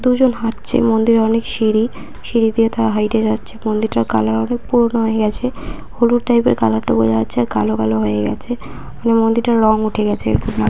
দুজন হাঁটছে মন্দিরে অনেক সিঁড়ি সিঁড়ি দিয়ে তারা হাঁইটে যাচ্ছে মন্দিরটার কালার অনেক পুরনো হয়ে গেছে হলুদ টাইপের কালার টা বোঝা যাচ্ছে আর কালো কালো হয়ে গেছে মন্দিরটার রং উঠে গেছে এরকম লাগছে।